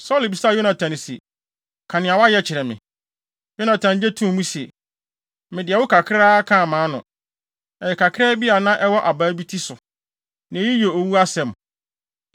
Saulo bisaa Yonatan se, “Ka nea woayɛ kyerɛ me.” Yonatan gye too mu se, “Mede ɛwo kakra kaa mʼano. Ɛyɛ kakraa bi a na ɛwɔ abaa bi ti so. Na eyi yɛ owu asɛm?”